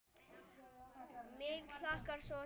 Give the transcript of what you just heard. Mig hlakkar svo til þegar.